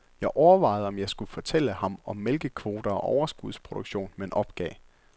Jeg overvejede, om jeg skulle fortælle ham om mælkekvoter og overskudsproduktion, men opgav.